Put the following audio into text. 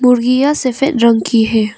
मुर्गियां सफेद रंग की है।